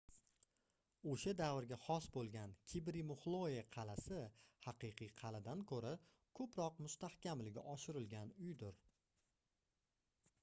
oʻsha davrga xos boʻlgan kibri muxloe qalʼasi haqiqiy qalʼadan koʻra koʻproq mustahkamligi oshirilgan uydir